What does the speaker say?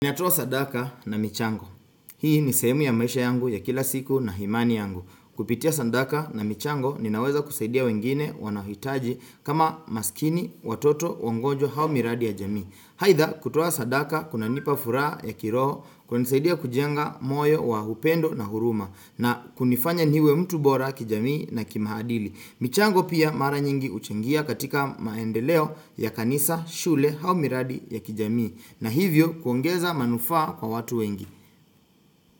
Ninatoa sadaka na michango. Hii ni sehemu ya maisha yangu ya kila siku na imani yangu. Kupitia sadaka na michango ninaweza kusaidia wengine wanaohitaji kama maskini watoto wagonjwa au miradi ya jamii. Aidha kutoa sadaka kunanipa furaha ya kiroho kunanisaidia kujenga moyo wa upendo na huruma na kunifanya niwe mtu bora kijamii na kimaadili. Michango pia mara nyingi huchangia katika maendeleo ya kanisa shule au miradi ya kijamii. Na hivyo kuongeza manufaa kwa watu wengi.